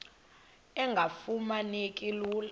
engafuma neki lula